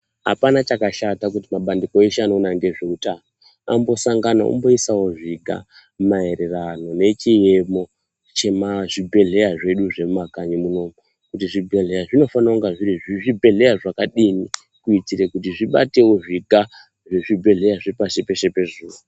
Apana chakashata kuti mabandiko eshe anoona ngezveutano vambosanganawo veiisawo zviga maererano nechiemo chezvibhedhlera zvedu zviri mumakanyi munomu. Zvibhebhedhlera zvinofanira kuva zviri zvibhedhlera zvakadini kuti zvibatewo zviga zvezvibhedhlera zvepasi peshe pezuwa.